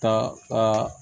Ka